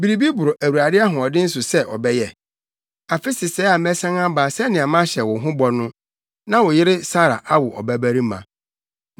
Biribi boro Awurade ahoɔden so sɛ ɔbɛyɛ? Afe sesɛɛ a mɛsan aba sɛnea mahyɛ wo ho bɔ no, na wo yere Sara awo ɔbabarima.”